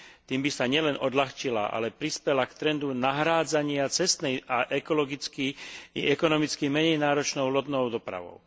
Tým by sa nielen odľahčila, ale prispela k trendu nahrádzania cestnej ekologicky i ekonomicky menej náročnou lodnou dopravou.